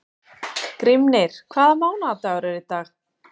Grímnir, hvaða mánaðardagur er í dag?